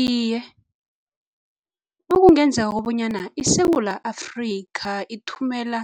Iye, nakungenzeka kobonyana iSewula Afrika ithumela